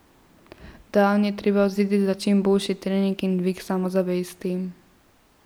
Dan je treba vzeti za čim boljši trening in dvig samozavesti.